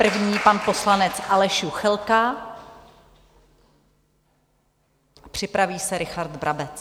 První - pan poslanec Aleš Juchelka, připraví se Richard Brabec.